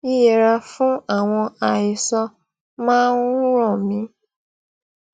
yíyẹra fún àwọn àhesọ máa ń ràn mí